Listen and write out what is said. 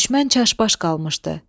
Düşmən çaşbaş qalmışdı.